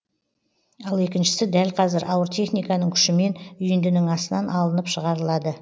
ал екіншісі дәл қазір ауыр техниканың күшімен үйіндінің астынан алынып шығарылады